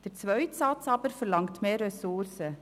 Der zweite Satz verlangt mehr Ressourcen.